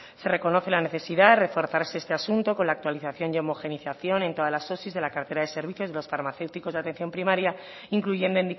se reconoce la necesidad reforzarse este asunto con la actualización y homogenización en todas las osi de la cartera de servicios de los farmacéuticos de atención primaria incluyendo